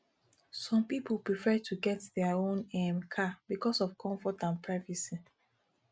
some pipo prefer to get their own um car because of comfort and privacy